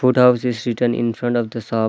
Food house is written in front of the shop .